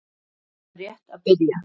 Ég er rétt að byrja!